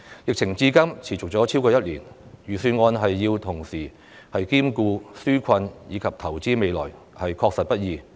疫情至今持續超過1年，預算案要同時兼顧紓困及投資未來，確實不易。